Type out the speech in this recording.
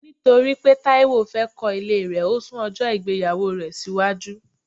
Nítorí pé Taiwo fẹ́ kọ ilé rẹ, o sún ojo ìgbéyàwó rẹ síwájú